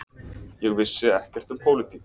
Ég vissi ekkert um pólitík.